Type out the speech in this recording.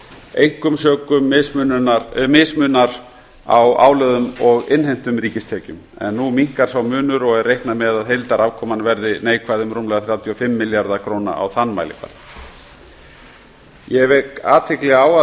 einkum sökum mismunar á álögðum og innheimtum ríkistekjum nú minnkar sá munur og er reiknað með að heildarafkoman verði neikvæð um rúmlega þrjátíu og fimm milljarða króna á þann mælikvarða ég vek athygli á að